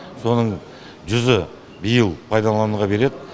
соның жүзі биыл пайдалануға береді